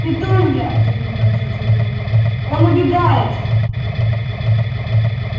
петунья загремел дядя верон он убегает